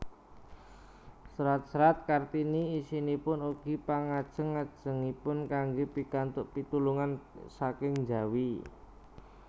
Serat serat Kartini isinipun ugi pangajeng ajengipun kanggé pikantuk pitulungan saking njawi